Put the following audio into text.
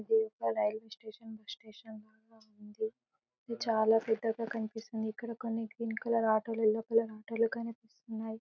ఇది యొక్క railway station bus station లాగ ఉంది ఇది చాలా పెద్దగా కనిపిస్తుంది ఇక్కడ కొన్ని గ్రీన్ కలర్ ఆటోలు యెల్లో కలర్ ఆటోలు కనిపిస్తున్నాయి.